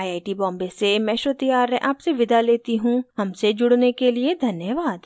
I I T Bombay से मैं श्रुति आर्य आपसे विदा लेती हूँ हमसे जुड़ने के लिए धन्यवाद